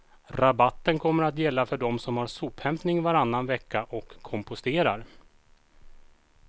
Rabatten kommer att gälla för dem som har sophämtning varannan vecka och komposterar.